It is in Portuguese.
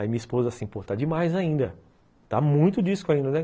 Aí minha esposa assim, pô, está demais ainda, está muito disco ainda, né?